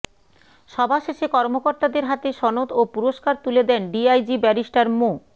সভা শেষে কর্মকর্তাদের হাতে সনদ ও পুরস্কার তুলে দেন ডিআইজি ব্যারিস্টার মো